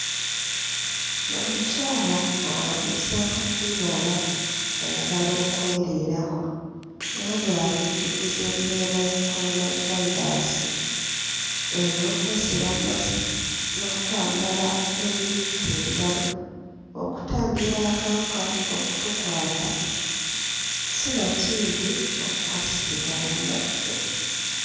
N'omukyala alamuza bibala ayagala okweriirako wabula atujjukiza embeera ya Coronavirus ey'okwesiba mmasiki n'okwambala ebibikka engalo okutangira akawuka okutukwata sinakindi okukasiiga bannaffe.